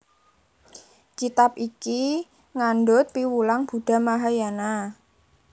Kitab iki ngandhut piwulang Buddha Mahayana